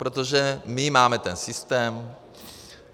Protože my máme ten systém.